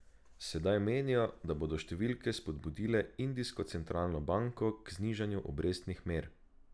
Sedaj menijo, da bodo številke spodbudile indijsko centralno banko k znižanju obrestnih mer.